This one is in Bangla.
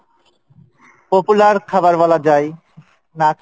popular খাবার বলা যাই, না খাইলে